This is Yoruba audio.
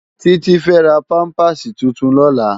Titi fè rá pàmpásí tútún lòlá